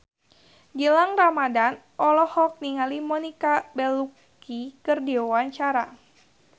Gilang Ramadan olohok ningali Monica Belluci keur diwawancara